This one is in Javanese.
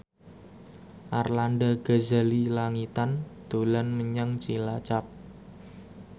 Arlanda Ghazali Langitan dolan menyang Cilacap